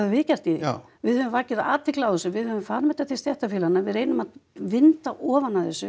við gert við höfum vakið athygli á þessu við höfum farið með þetta til stéttarfélaganna við reynum að vinda ofan af þessu